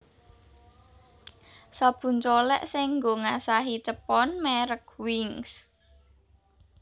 Sabun colek sing nggo ngasahi cepon merk Wings